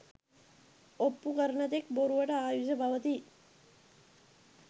ඔප්පු කරන තෙක් බොරුවට ආයුෂ පවතී.